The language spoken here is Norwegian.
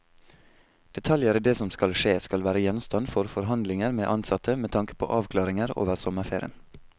Detaljer i det som skal skje skal være gjenstand for forhandlinger med ansatte, med tanke på avklaringer over sommerferien.